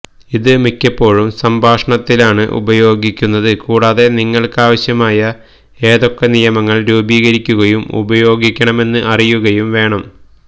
ഇത് മിക്കപ്പോഴും സംഭാഷണത്തിലാണ് ഉപയോഗിക്കുന്നത് കൂടാതെ നിങ്ങൾക്കാവശ്യമായ ഏതൊക്കെ നിയമങ്ങൾ രൂപീകരിക്കുകയും ഉപയോഗിക്കണമെന്ന് അറിയുകയും വേണം